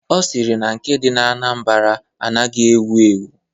Ọ sịrị na nke dị na Anambra anaghị ewu ewu..